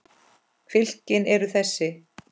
Fylkin eru þessi